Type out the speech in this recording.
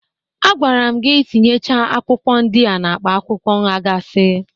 Agwara m gi tinyecha akwụkwọ ndị a n'akpa akwụkwọ nghakasi